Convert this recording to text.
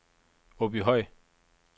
Åbyhøj